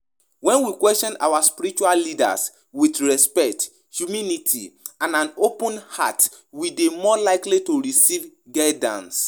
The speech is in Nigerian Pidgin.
Wetin you think about di idea of questioning spiritual leaders?